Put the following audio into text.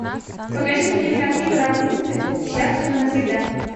покажи мне кинокартину рапунцель счастливы навсегда